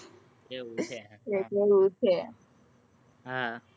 એવું છે હા.